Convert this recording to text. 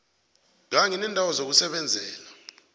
kanye neendawo zokusebenzela